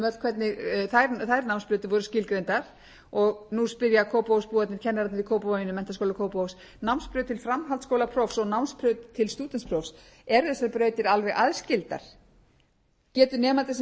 öll hvernig þær námsbrautir voru skilgreindar og nú spyrja kópavogsbúarnir kennararnir í kópavoginum menntaskóla kópavogs námsbraut til framhaldsskólaprófs og námsbraut til stúdentsprófs eru þessar brautir alveg aðskildar getur nemandi